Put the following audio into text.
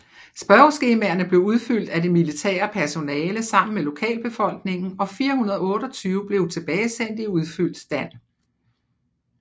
Spørgeskemaerne blev udfyldt af det militære personale sammen med lokalbefolkningen og 428 blev tilbagesendt i udfyldt stand